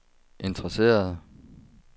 interesserede